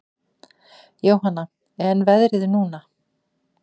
Jóhanna: En veðrið núna?